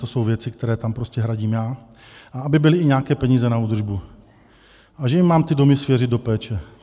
To jsou věci, které tam prostě hradím já, a aby byly i nějaké peníze na údržbu, a že jim mám ty domy svěřit do péče.